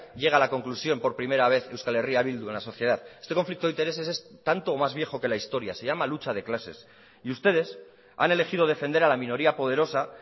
llega a la conclusión por primera vez euskal herria bildu en la sociedad este conflicto de intereses es tanto o más viejo de que la historia se llama lucha de clases y ustedes han elegido defender a la minoría poderosa